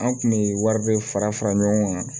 An kun bɛ wari be fara fara ɲɔgɔn kan